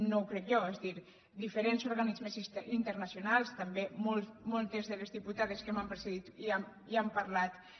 no ho crec jo és a dir diferents organismes internacionals també moltes de les diputades que m’han precedit ja n’han parlat